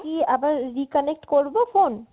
আমি কি আবার reconnect করবো phone ?